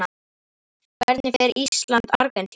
Hvernig fer Ísland- Argentína?